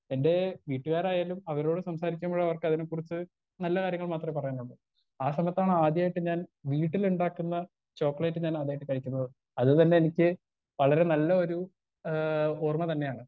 Speaker 1 എന്റെ വീട്ടുകാരായാലും അവരോട് സംസാരിക്കുമ്പഴും അവർക്കത്തിനെ കുറിച്ച് നല്ല കാര്യങ്ങൾ മാത്രേ പറയാനുള്ളൂ ആ സമയത്താണ് ആദ്യായിട്ട് ഞാൻ വീട്ടിലിണ്ടാക്ക്ന്ന ചോക്ലേറ്റ് ഞാനാദ്യായിട്ട് കഴിക്കുന്നത് അത് തന്നെ എനിക്ക് വളരെ നല്ല ഒരു ഏ ഓർമ തന്നെയാണ്.